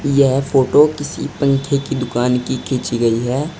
यह फोटो किसी पंखे की दुकान की खींची गई है।